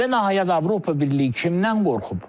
Və nəhayət Avropa Birliyi kimdən qorxub?